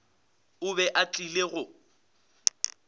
o be a tlile go